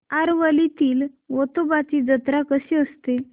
आरवलीतील वेतोबाची जत्रा कशी असते